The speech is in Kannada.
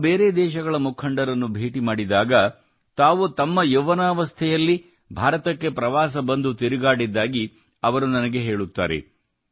ನಾನು ಬೇರೆ ದೇಶಗಳ ಮುಖಂಡರನ್ನು ಭೇಟಿ ಮಾಡಿದಾಗ ತಾವು ತಮ್ಮ ಯೌವನಾವಸ್ಥೆಯಲ್ಲಿ ಭಾರತಕ್ಕೆ ಪ್ರವಾಸ ಬಂದು ತಿರುಗಾಡಿದ್ದಾಗಿ ಅವರು ನನಗೆ ಹೇಳುತ್ತಾರೆ